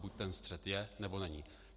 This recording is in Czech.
Buď ten střet je, nebo není.